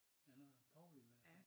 Ja der var ordentlig med